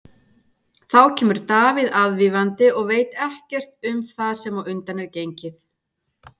Þá kemur Davíð aðvífandi og veit ekkert um það sem á undan er gengið.